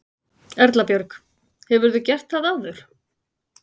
Erla Björg: Hefurðu gert það áður?